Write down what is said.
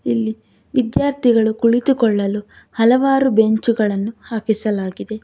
ಇಲ್ಲಿ ವಿದ್ಯಾರ್ಥಿಗಳು ಕುಳಿತುಕೊಳ್ಳಲು ಹಲವಾರು ಬೆಂಚುಗಳನ್ನು ಹಾಕಿಸಲಾಗಿದೆ